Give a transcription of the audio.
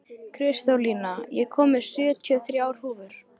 Kristólína, ég kom með sjötíu og þrjár húfur!